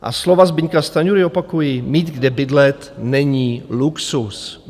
A slova Zbyňka Stanjury opakuji: Mít kde bydlet není luxus.